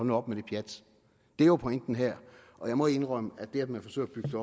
nu op med det pjat det er jo pointen her og jeg må indrømme at det at man forsøger at bygge